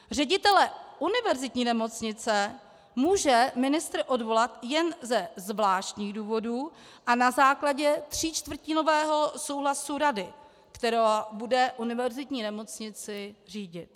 Ředitele univerzitní nemocnice může ministr odvolat jen ze zvláštních důvodů a na základě tříčtvrtinového souhlasu rady, která bude univerzitní nemocnici řídit.